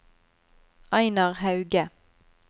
Einar Hauge